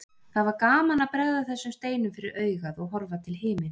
Það var gaman að bregða þessum steinum fyrir augað og horfa til himins.